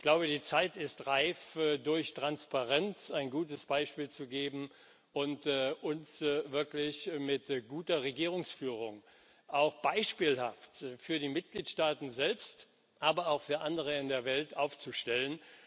Ich glaube, die Zeit ist reif, durch Transparenz ein gutes Beispiel zu geben und uns wirklich mit guter Regierungsführung auch beispielhaft für die Mitgliedstaaten selbst, aber auch für andere in der Welt, aufzustellen.